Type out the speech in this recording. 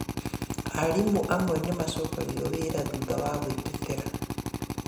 Arimũ amwe nĩ macokagio wĩra thutha wa gwĩtetera